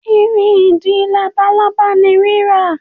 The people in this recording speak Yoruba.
Irin edin labalaba ni rira.